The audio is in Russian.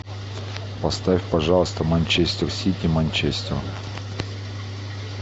поставь пожалуйста манчестер сити манчестер